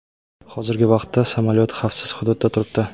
Hozirgi vaqtda samolyot xavfsiz hududda turibdi.